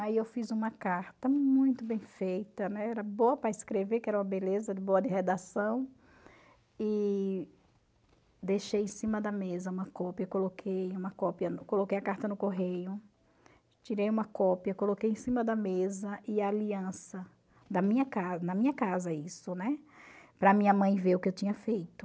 Aí eu fiz uma carta muito bem feita, né, era boa para escrever, que era uma beleza, de boa de redação, e deixei em cima da mesa uma cópia, coloquei uma cópia coloquei a carta no correio, tirei uma cópia, coloquei em cima da mesa e a aliança, da minha ca na minha casa isso, né, para a minha mãe ver o que eu tinha feito.